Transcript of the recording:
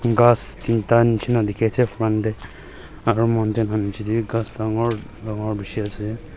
ghass tinta nishi na dikhi ase front te aru mountain la niche te bi ghass dagor dagor bishi ase.